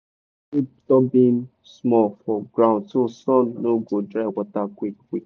bury drip tubing small for ground so sun no go dry water quick quick.